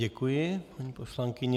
Děkuji, paní poslankyně.